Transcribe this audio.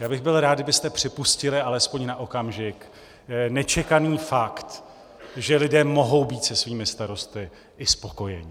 Já bych byl rád, kdybyste připustili alespoň na okamžik nečekaný fakt, že lidé mohou být se svými starosty i spokojeni.